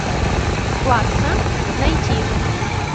плакса найти